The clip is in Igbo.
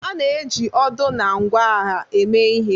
A na-eji odo na ngwa agha eme ihe